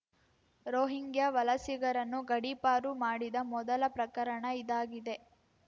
Rohingya ವಲಸಿಗರನ್ನು ಗಡೀಪಾರು ಮಾಡಿದ ಮೊದಲ ಪ್ರಕರಣ ಇದಾಗಿದೆ